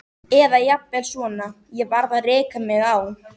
Eða jafnvel svona: Ég varð að reka mig á.